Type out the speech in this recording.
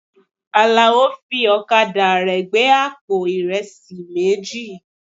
Àlàó fi ọ̀kadà rẹ̀ gbé àpò ìrẹsì méjì.